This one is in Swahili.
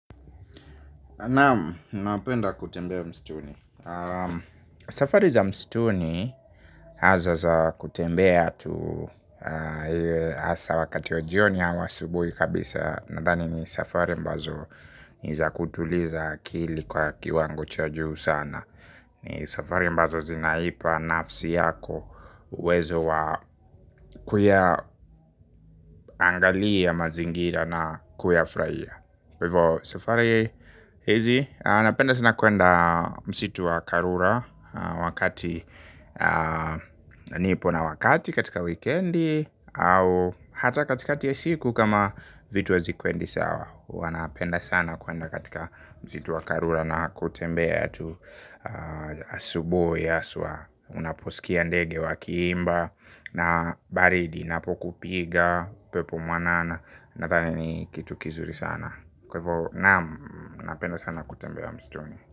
Naam, napenda kutembea msituni safari za msituni hasa za kutembea tu iwe hasa wakati wa jioni au asubuhi kabisa nadhani ni safari ambazo ni za kutuliza akili kwa kiwango cha juu sana. Ni safari ambazo zinaipa nafsi yako uwezo wa kuyaangalia mazingira na kuyafurahia kwa hivyo safari hizi napenda sana kwenda msitu wa karura wakati nipo na wakati katika wikendi au hata katikati ya siku kama vitu hazikwendi sawa huwa napenda sana kwenda katika msitu wa karura na kutembea tu asubuhi hasa. Unaposikia ndege wakiimba na baridi inapokupiga pepo mwanana nadhani ni kitu kizuri sana kwa hivyo naam napenda sana kutembea msituni.